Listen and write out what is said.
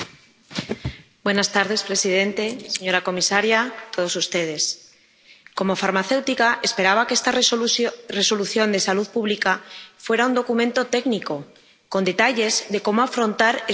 Señor presidente, señora comisaria, señores diputados, como farmacéutica esperaba que esta Resolución relativa a la salud pública fuera un documento técnico, con detalles de cómo afrontar esta pandemia.